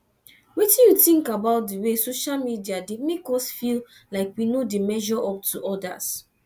wetin you think about di way social media dey make us feel like we no dey measure up to odas